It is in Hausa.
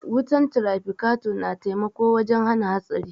Wutan trafikator na taimako wajen hana hatsari.